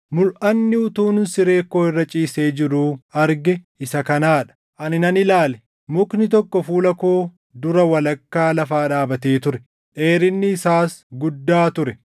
Mulʼanni utuun siree koo irra ciisee jiruu arge isa kanaa dha: Ani nan ilaale; mukni tokko fuula koo dura walakkaa lafaa dhaabatee ture. Dheerinni isaas guddaa ture.